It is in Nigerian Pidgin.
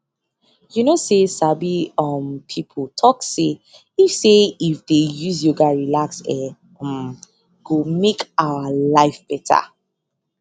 you know say sabi um pipo talk say if say if dey use yoga relax e um go make our life beta